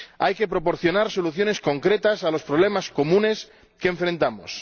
Hay que proporcionar soluciones concretas a los problemas comunes que afrontamos.